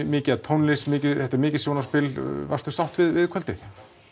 mikið af tónlist þetta er mikið sjónarspil varstu sátt við kvöldið